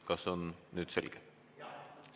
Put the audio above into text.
Kas on nüüd selge?